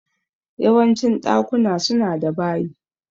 Yawancin ɗakuna suna da bayi